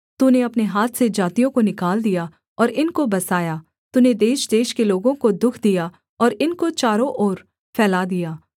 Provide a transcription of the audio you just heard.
तूने अपने हाथ से जातियों को निकाल दिया और इनको बसाया तूने देशदेश के लोगों को दुःख दिया और इनको चारों ओर फैला दिया